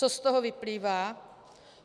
Co z toho vyplývá?